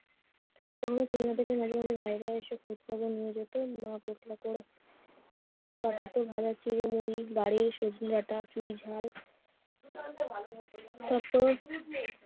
জায়গায় এসে খোঁজ-খবর নিয়ে যেত। তাদের হাতে ভাজা চিড়ে-মুড়ি, বাড়ির সজনে ডাটা, পুইঝাল তারপর